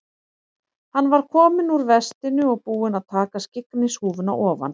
Hann var kominn úr vestinu og búinn að taka skyggnishúfuna ofan.